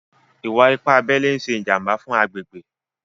Ìwà-ìpà àbẹlè n ṣè jàmbà fún àgbègbè.